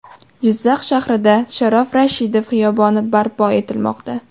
Jizzax shahrida Sharof Rashidov xiyoboni barpo etilmoqda.